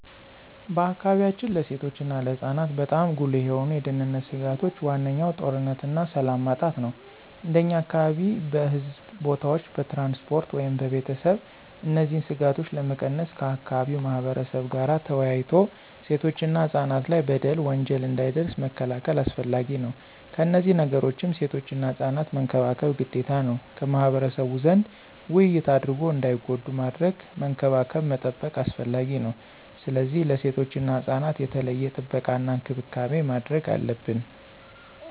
በአካባቢያችን ለሴቶች እና ለህፃናት በጣም ጉልህ የሆኑ የደህንነት ስጋቶች ዋነኛው ጦርነትና ሰላም ማጣት ነው። እንደኛ አካባቢ በሕዝብ ቦታዎች፣ በትራንስፖርት ወይም በቤተሰብ እነዚህን ስጋቶች ለመቀነስ ከአካባቢው ማህበረብ ጋር ተወያይቶ ሴቶችና ህፃናት ላይ በደል፣ ወንጀል እንዳይደርስ መከላከል አስፈላጊ ነው። ከነዚህ ነገሮችም ሴቶችና ህፃናት መንከባከብ ግዴታ ነው። ከማህበረሰቡ ዘንድ ውይይት አድርጎ እንዳይጎዱ ማድረግ፣ መንከባከብ መጠበቅ አስፈላጊ ነው። ስለዚህ ለሴቶችና ህፃናት የተለየ ጥበቃና እንክብካቤ ማድረግ አለብን።